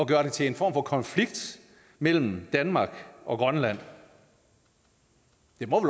gøre det til en form for konflikt mellem danmark og grønland det må